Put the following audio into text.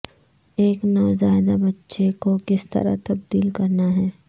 ایک نوزائیدہ بچے کو کس طرح تبدیل کرنا ہے